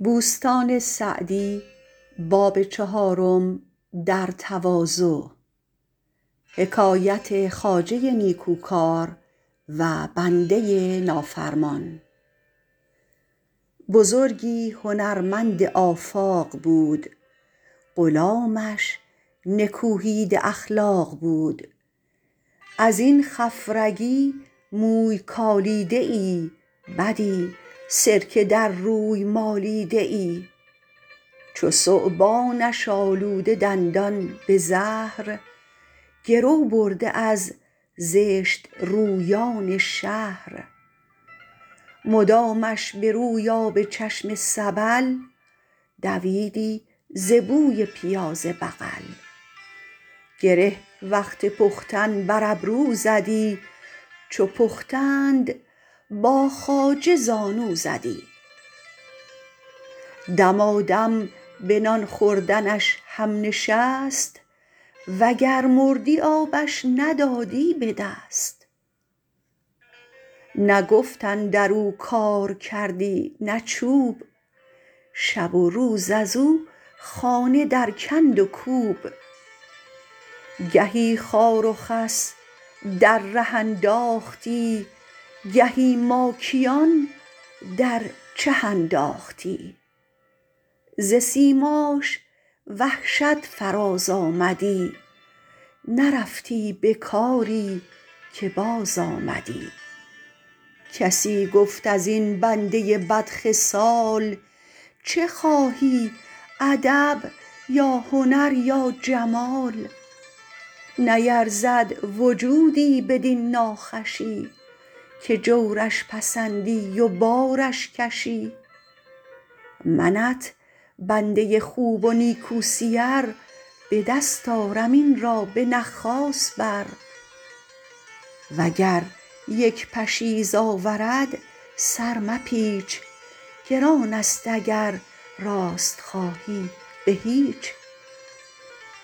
بزرگی هنرمند آفاق بود غلامش نکوهیده اخلاق بود از این خفرگی موی کالیده ای بدی سرکه در روی مالیده ای چو ثعبانش آلوده دندان به زهر گرو برده از زشت رویان شهر مدامش به روی آب چشم سبل دویدی ز بوی پیاز بغل گره وقت پختن بر ابرو زدی چو پختند با خواجه زانو زدی دمادم به نان خوردنش هم نشست و گر مردی آبش ندادی به دست نه گفت اندر او کار کردی نه چوب شب و روز از او خانه در کند و کوب گهی خار و خس در ره انداختی گهی ماکیان در چه انداختی ز سیماش وحشت فراز آمدی نرفتی به کاری که باز آمدی کسی گفت از این بنده بد خصال چه خواهی ادب یا هنر یا جمال نیرزد وجودی بدین ناخوشی که جورش پسندی و بارش کشی منت بنده خوب و نیکو سیر به دست آرم این را به نخاس بر و گر یک پشیز آورد سر مپیچ گران است اگر راست خواهی به هیچ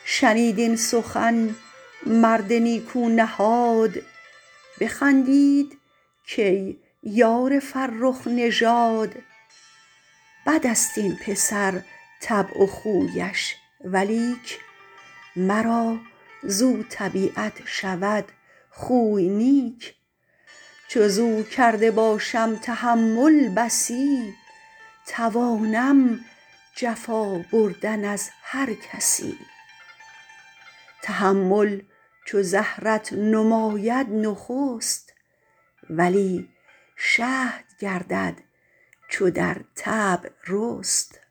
شنید این سخن مرد نیکو نهاد بخندید کای یار فرخ نژاد بد است این پسر طبع و خویش ولیک مرا زاو طبیعت شود خوی نیک چو زاو کرده باشم تحمل بسی توانم جفا بردن از هر کسی تحمل چو زهرت نماید نخست ولی شهد گردد چو در طبع رست